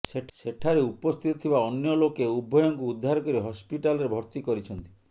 ସେଠାରେ ଉପସ୍ଥିତ ଥିବା ଅନ୍ୟ ଲୋକେ ଉଭୟଙ୍କୁ ଉଦ୍ଧାର କରି ହସ୍ପିଟାଲରେ ଭର୍ତ୍ତୀ କରିଛନ୍ତି